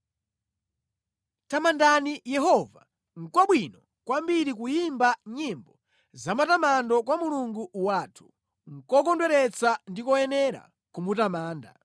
Tamandani Yehova. Nʼkwabwino kwambiri kuyimba nyimbo zamatamando kwa Mulungu wathu, nʼkokondweretsa ndi koyenera kumutamanda!